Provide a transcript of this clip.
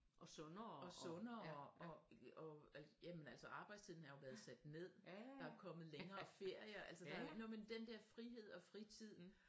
Og sundere og øh altså jamen arbejdstiden har jo været sat ned der er kommet længere ferier altså den der frihed og fritid